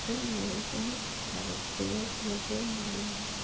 तल में बहोत सारे पड़े लगे हुए हैं।